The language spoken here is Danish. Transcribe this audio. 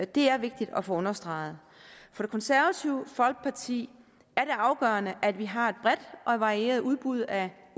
det er vigtigt at få understreget for det konservative folkeparti er det afgørende at vi har et bredt og varieret udbud af